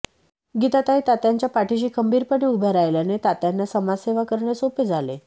गीताताई तात्यांच्या पाठीशी खंबीरपणे उभ्या राहिल्याने तात्यांना समाजसेवा करणे सोपे झाले